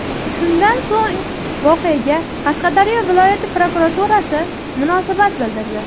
Shundan so‘ng voqeaga Qashqadaryo viloyat prokuraturasi munosabat bildirdi .